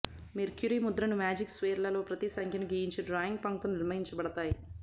mercury ముద్రను magic స్క్వేర్లో ప్రతి సంఖ్యను గీయించే డ్రాయింగ్ పంక్తులు నిర్మించబడతాయి